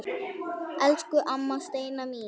Elsku amma Steina mín.